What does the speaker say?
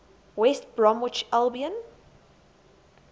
west bromwich albion